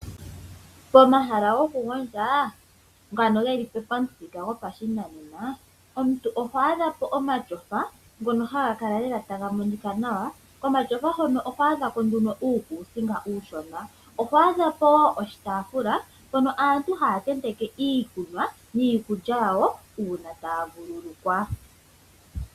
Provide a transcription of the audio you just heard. Pomahala gokugondja ngano geli pamuthika gopashinanena omuntu oho adha po omatyofa ngono geli taga monika nawa. Komatyofa hono oho adha ko nduno uukuusinga uushona. Oho adha po woo oshitaafula mpono aantu haya tenteke iikunwa niikulya yawo uuna taya vuululukwa.